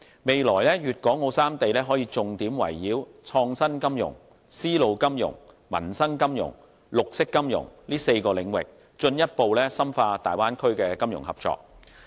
未來粵港澳三地可重點圍繞創新金融、絲路金融、民生金融、綠色金融等4個領域，進一步深化大灣區的金融合作。